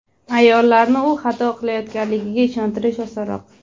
Ayollarni u xato qilayotganligiga ishontirish osonroq.